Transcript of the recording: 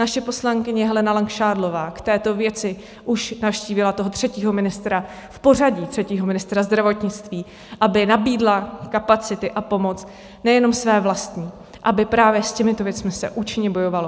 Naše poslankyně Helena Langšádlová k této věci už navštívila toho třetího ministra v pořadí, třetího ministra zdravotnictví, aby nabídla kapacity a pomoc nejenom své vlastní, aby právě s těmito věcmi se účinně bojovalo.